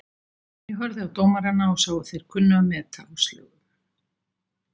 Ég horfði á dómarana og sá að þeir kunnu að meta Áslaugu.